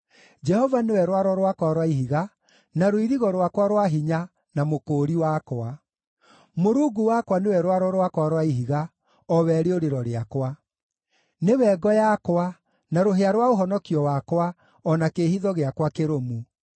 Jehova nĩwe rwaro rwakwa rwa ihiga, na rũirigo rwakwa rwa hinya, na mũkũũri wakwa; Mũrungu wakwa nĩwe rwaro rwakwa rwa ihiga, o we rĩũrĩro rĩakwa. Nĩwe ngo yakwa, na rũhĩa rwa ũhonokio wakwa, o na kĩĩhitho gĩakwa kĩrũmu.